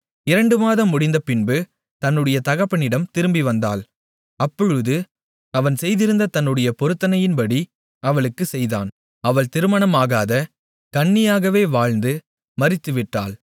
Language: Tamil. இரண்டு மாதம் முடிந்தபின்பு தன்னுடைய தகப்பனிடம் திரும்பிவந்தாள் அப்பொழுது அவன் செய்திருந்த தன்னுடைய பொருத்தனையின்படி அவளுக்குச் செய்தான் அவள் திருமணம் ஆகாத கன்னியாகவே வாழ்ந்து மரித்து விட்டாள்